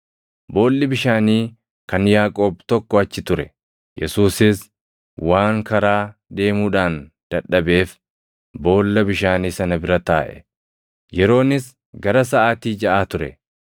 Boolli bishaanii kan Yaaqoob tokko achi ture; Yesuusis waan karaa deemuudhaan dadhabeef boolla bishaanii sana bira taaʼe. Yeroonis gara saʼaatii jaʼaa ture.